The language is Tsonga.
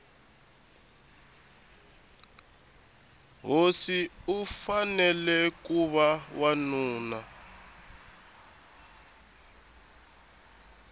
hosi akufanele kuva wanuna